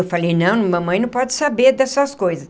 Eu falei, não, mamãe não pode saber dessas coisas.